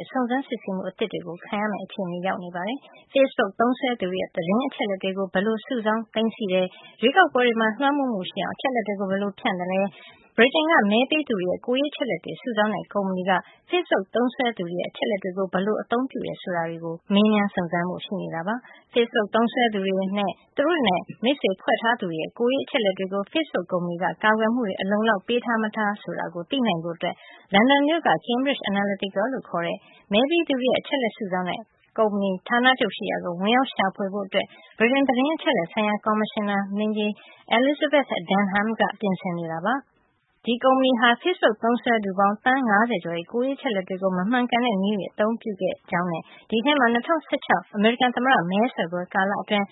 ဲ့ စုံစမ်းစစ်ဆေးမှုအသစ် တွေကို ခံရမယ့်အခြေအနေရှိနေပါတယ်။ Facebook သုံးစွဲသူတွေရဲ့သတင်းအချက်အလက်တွေကို ဘယ်လိုစုဆောင်း သိမ်းဆည်း ထားသလဲ၊ရွေးကောက်ပွဲတွေမှာ လွမ်းမိုးမှုတွေရှိအောင် အချက်အလက်တွေကို ဘယ်လိုဖြန့်ကျက်သလဲ၊ ဗြိတိန်က မဲပေးသူတွေရဲ့ကိုယ်ရေးအချက်အလက်တွေ စုဆောင်းတဲ့ကုမ္ပဏီက Facebook သုံးစွဲသူတွေရဲ့အချက် အလက်တွေကို ဘယ်လိုအသုံးပြုသလဲ စတာတွေကို မေးမြန်းစုံစမ်းဖို့ရှိနေတာပါ။ Facebook သုံးစွဲသူတွေနဲ့ သူတို့နဲ့ မိတ်ဆွေဖွဲ့ထားသူတွေရဲ့ ကိုယ်ရေးအချက်အလက်တွေကို Facebook ကုမ္ပဏီက ကာကွယ်မှုတွေ အလုံအလောက်ပေးထား ၊မထားဆိုတာကို သိနိုင်ဖို့ လန်ဒန်မြို့က Cambridge Analytica လို့ခေါ်တဲ့ မဲပေးသူတွေရဲ့ အချက်အလက် စုဆောင်းတဲ့ ကုမ္ပဏီ ဌာနချုပ်ကို ဝင်ရောက်ရှာဖွေဖို့ ဗြိတိန် သတင်းအချက်အလက်ဆိုင်ရာ ကော်မရှင်နာ Elizabeth Denhamက ပြင်ဆင်နေပါတယ်။ Cambridge Analytica ကုမ္ပဏီဟာ Facebook သုံးစွဲသူပေါင်းသန်း ၅၀ ကျော်ရဲ့ ကိုယ်ရေး အချက်အလက်တွေကို မမှန်ကန်တဲ့နည်းတွေနဲ့အသုံးပြုခဲ့တဲ့အကြောင်း၊ အဲဒီအထဲမှာ ၂၀၁၆ခုနှစ် အမေရိကန်သမ္မတ မဲဆွယ်ပွဲကာလတွေအတွင်း